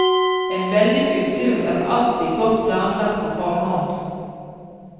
En vellykket tur er alltid godt planlagt på forhånd.